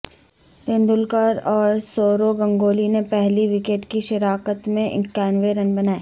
تیندولکر اور سورو گنگولی نے پہلی وکٹ کی شراکت میں اکانوے رن بنائے